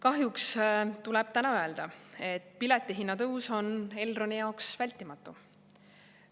" Kahjuks tuleb täna öelda, et piletihinna tõus on Elroni jaoks vältimatu.